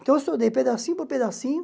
Então, eu estudei pedacinho por pedacinho.